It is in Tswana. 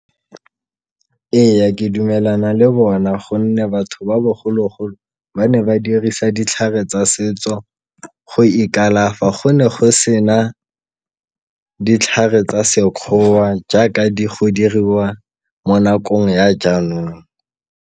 Eya, ke dumelana le bona gonne batho ba bogologolo ba ne ba dirisa ditlhare tsa setso go ikalafa, go ne go sena ditlhare tsa sekgowa jaaka go diriwa mo nakong ya jaanong.